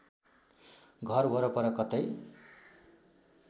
घर वरपर कतै